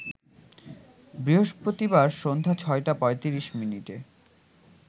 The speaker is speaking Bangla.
বৃহস্পতিবার সন্ধ্যা ৬টা ৩৫ মিনিটে